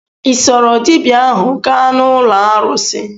Ị soro dibia ahu gaa n'ụlọ arụsị?